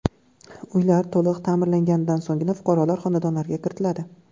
Uylar to‘liq ta’mirlanganidan so‘nggina fuqarolar xonadonlariga kiritiladi.